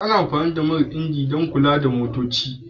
Ana amfani da man injin dan kula da motoci.